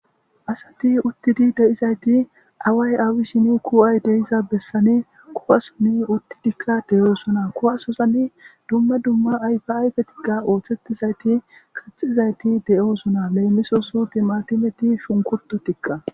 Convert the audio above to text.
Asati uttidi deizayti away awishin kuway deiza bessan kuwason uttidika de7osona kuwasozan dumma dumma ayfa ayfetika othetizati kaxxidaysika de7osona lemissos timatimeti shunkurtitika.